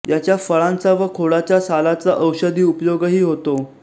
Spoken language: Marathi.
याच्या फळांचा व खोडाच्या सालाचा औषधी उपयोगही होतो